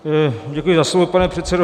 Děkuji za slovo, pane předsedo.